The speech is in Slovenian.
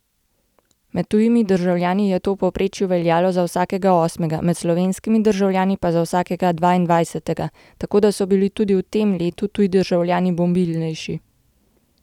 Med tujimi državljani je to v povprečju veljalo za vsakega osmega, med slovenskimi državljani pa za vsakega dvaindvajsetega, tako da so bili tudi v tem letu tuji državljani mobilnejši.